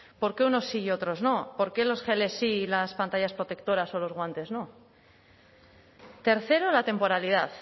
por qué unos sí y otros no por qué los geles sí y las pantallas protectoras o los guantes no tercero la temporalidad